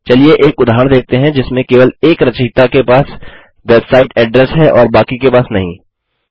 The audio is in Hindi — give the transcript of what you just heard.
चलिए एक उदाहरण देखते हैं जिसमें केवल एक रचयिता के पास वेबसाइट एड्रेस है और बाकी के पास नहीं